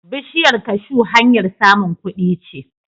Bishiyar kashu hanyar samun kudi ce.